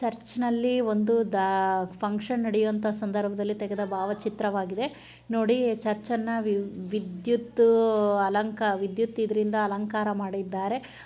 ಚರ್ಚಿನಲ್ಲಿ ಒಂದು ಫಂಕ್ಷನ ನಡೆಯುವಂತಹ ಸಂದ್ರಭದಲ್ಲಿ ತಗೆದ ಭಾವಚಿತ್ರವಾಗಿದೆ. ನೂಡಿ ಚರ್ಚ್ನಾ ವಿದ್ಯುತ್ ವಿದ್ಯುತ್ ಇದ್ರಿಂದ ಅಲಂಕಾರ ಮಾಡಿದ್ದಾರೆ.